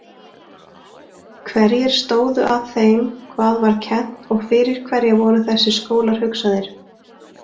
Hverjir stóðu að þeim hvað var kennt og fyrir hverja voru þessir skólar hugsaðir?